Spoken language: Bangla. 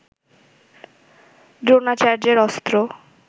দ্রোণাচার্যের অস্ত্র